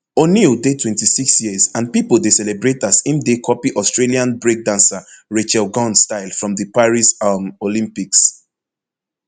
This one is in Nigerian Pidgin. oneill dey twenty-six years and pipo dey celebrate as im dey copy australian breakdancer rachael gunn style from di paris um olympics